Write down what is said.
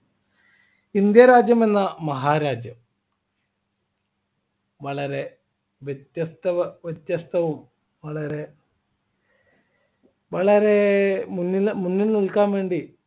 India രാജ്യം എന്ന മഹാരാജ്യം വളരെ വ്യത്യസ്ത വ്യത്യസ്തവും വളരെ വളരെ മുന്നി മുന്നിൽ നിൽക്കാൻ വേണ്ടി